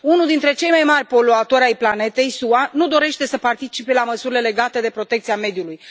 Unul dintre cei mai mari poluatori ai planetei, SUA, nu dorește să participe la măsurile legate de protecția mediului.